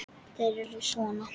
Eru þeir sona?